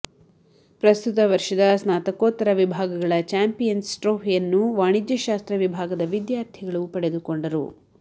ಪ್ರಸ್ತುತ ವರ್ಷದ ಸ್ನಾತಕೋತ್ತರ ವಿಭಾಗಗಳ ಚಾಂಪಿಯನ್ಸ್ ಟ್ರೌಫಿಯನ್ನು ವಾಣಿಜ್ಯಶಾಸ್ತ್ತ್ರ ವಿಭಾಗದ ವಿದ್ಯಾರ್ಥಿಗಳು ಪಡೆದುಕೊಂಡರು